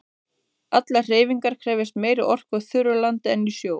Allar hreyfingar krefjast meiri orku á þurru landi en í sjó.